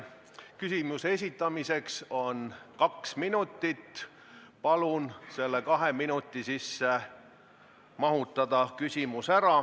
Küsimuse esitamiseks on aega kaks minutit – palun küsimus selle kahe minuti sisse ära mahutada!